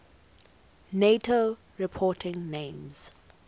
nato reporting names